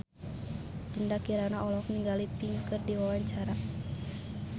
Dinda Kirana olohok ningali Pink keur diwawancara